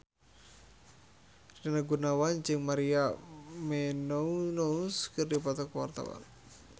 Rina Gunawan jeung Maria Menounos keur dipoto ku wartawan